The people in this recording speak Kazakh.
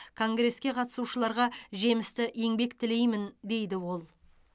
конгреске қатысушыларға жемісті еңбек тілеймін дейді ол